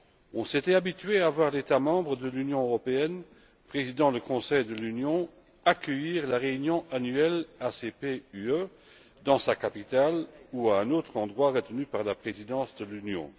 On s'était habitué à voir l'État membre de l'Union européenne présidant le Conseil de l'Union accueillir la réunion annuelle ACP UE dans sa capitale, ou à un autre endroit retenu par la présidence de l'Union.